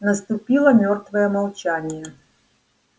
наступило мёртвое молчание